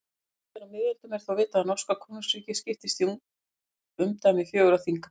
En síðar á miðöldum er vitað að norska konungsríkið skiptist í umdæmi fjögurra þinga.